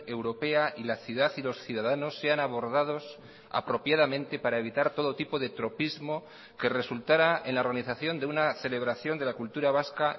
europea y la ciudad y los ciudadanos sean abordados apropiadamente para evitar todo tipo de tropismo que resultara en la organización de una celebración de la cultura vasca